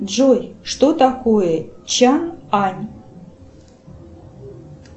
джой что такое чан ань